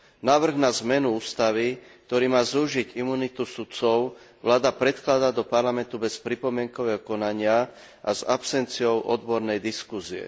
Návrh na zmenu ústavy, ktorý má zúžiť imunitu sudcov, vláda predkladá do Parlamentu bez pripomienkového konania a s absenciou odbornej diskusie.